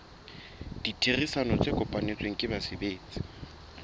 ditherisano tse kopanetsweng ke basebetsi